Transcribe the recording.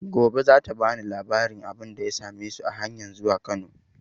Gobe za ta ba ni labarin abin da ya same su a hanyan zuwa Kano.